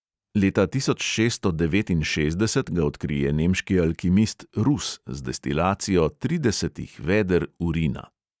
Leta tisoč šeststo devetinšestdeset ga odkrije nemški alkimist rus z destilacijo tridesetih veder urina!